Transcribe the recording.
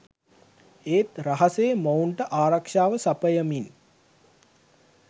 ඒත් රහසේ මොවුන්ට ආරක්ෂාව සපයමින්